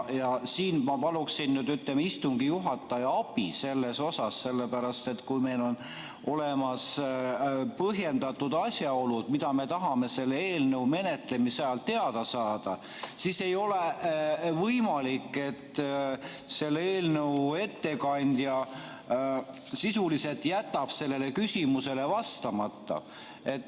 Ja siin ma palun nüüd istungi juhataja abi, sellepärast et kui meil on olemas põhjendatud asjaolud, mida me tahame selle eelnõu menetlemise ajal teada saada, siis ei ole võimalik, et eelnõu ettekandja sisuliselt jätab sellele küsimusele vastamata.